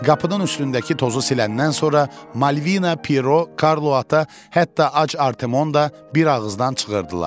Qapının üstündəki tozu siləndən sonra Malvina, Piero, Karlo ata, hətta ac Artemon da bir ağızdan çığırırdılar.